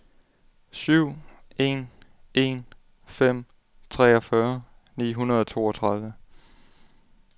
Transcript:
syv en en fem treogfyrre ni hundrede og toogtredive